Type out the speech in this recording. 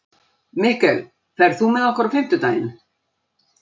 Mikkel, ferð þú með okkur á fimmtudaginn?